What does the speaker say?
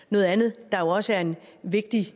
noget andet der jo også er en vigtig